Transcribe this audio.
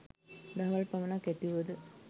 දහවල් පමණක් ඇතිවුවද